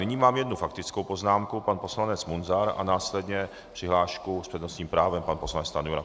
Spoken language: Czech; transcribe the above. Nyní mám jednu faktickou poznámku, pan poslanec Munzar, a následně přihlášku s přednostním právem, pan poslanec Stanjura.